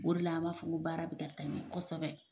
O re la an ma fɔ nko baara bi ka taa ɲɛ kosɛbɛ